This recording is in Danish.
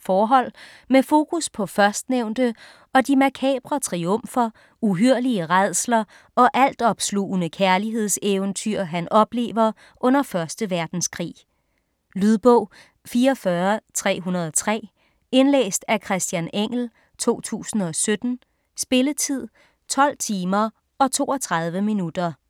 forhold med fokus på førstnævnte og de makabre triumfer, uhyrlige rædsler og altopslugende kærlighedseventyr, han oplever under 1. verdenskrig. Lydbog 44303 Indlæst af Christian Engell, 2017. Spilletid: 12 timer, 32 minutter.